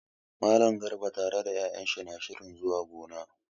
Mallam Garba tare da 'ya'yan shi na shirin zuwa gona.